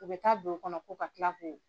U bɛ taa don o kɔnɔ ko ka kila ko.